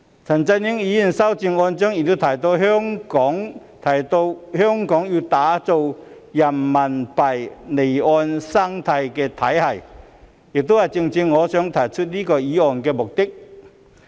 陳振英議員的修正案亦提到香港要打造人民幣離岸生態體系，這亦正正是我提出這項議案的目的。